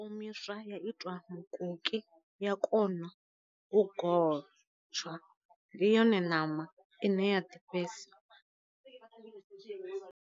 Omiswa ya itiwa mukoki ya kona u gotshwa, ndi yone ṋama ine ya ḓifhesa.